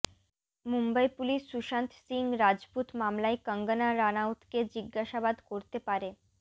Mumbai police Sushant Singh Rajput মামলায় কঙ্গনা রানাউতকে জিজ্ঞাসাবাদ করতে পারে